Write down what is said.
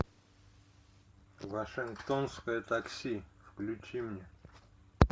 вашингтонское такси включи мне